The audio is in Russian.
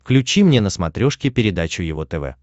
включи мне на смотрешке передачу его тв